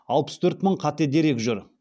алпыс төрт мың қате дерек жүр